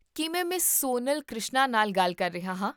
ਕੀ ਮੈਂ ਮਿਸ ਸੋਨਲ ਕ੍ਰਿਸ਼ਨਾ ਨਾਲ ਗੱਲ ਕਰ ਰਹੀ ਹਾਂ?